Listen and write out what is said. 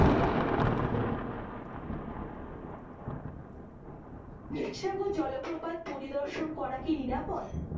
দুধসাগর জলপ্রপাত পরিদর্শন করা কি নিরাপদ?